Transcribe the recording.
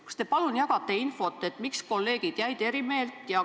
Kas te palun jagate infot, miks kolleegid jäid eri meelt?